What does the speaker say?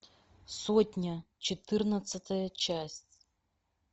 сотня четырнадцатая часть